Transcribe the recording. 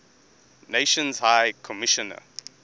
nations high commissioner